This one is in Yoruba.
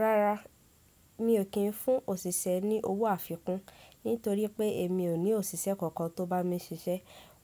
Rárá, mi ò kí n fún òṣìṣẹ́ ní owó àfikún nítorí pé èmi ò ní òṣìṣẹ́ kankan tó bá mi ṣiṣẹ́.